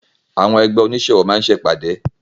Àwọn ẹgbẹ́ onísẹ́ ọwọ́ máá ń ṣe ìpàdé